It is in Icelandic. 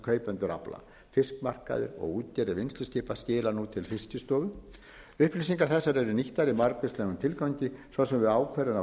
kaupendur afla fiskmarkaðir og útgerðir vinnsluskipa skila nú til fiskistofu upplýsingar þessar eru nýttar í margvíslegum tilgangi svo sem við ákvörðun á